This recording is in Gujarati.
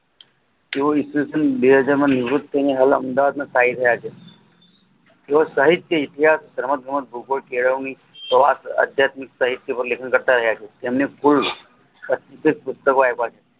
તેઓ ઈસવીસન બે હાજરમાં નિવૃત તે હાલ અમદાવાદમાં સ્થાયી થયા છે એ સાહિત્ય ઇતિહાસ સમગ્ર ભૂગોળ કેળવણી જવા કે આધ્યાત્મિક સાહિત્ય પાર લેખન કરતા રહ્યા છે તેમને